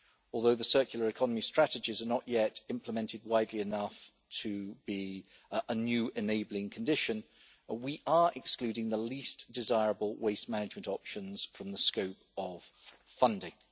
Although the circular economy strategies are not yet implemented widely enough to be a new enabling condition, we are excluding the least desirable waste management options from the scope of funding.